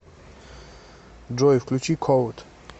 джой включи коуд